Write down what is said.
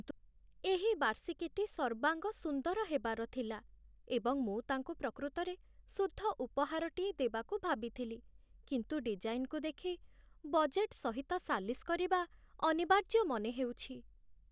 ଏହି ବାର୍ଷିକୀଟି ସର୍ବାଙ୍ଗ ସୁନ୍ଦର ହେବାର ଥିଲା, ଏବଂ ମୁଁ ତାଙ୍କୁ ପ୍ରକୃତରେ ଶୁଦ୍ଧ ଉପହାରଟିଏ ଦେବାକୁ ଭାବିଥିଲି। କିନ୍ତୁ ଡିଜାଇନ୍‌ରୁ ଦେଖି ବଜେଟ୍ ସହିତ ସାଲିସ କରିବା ଅନିବାର୍ଯ୍ୟ ମନେ ହେଉଛି।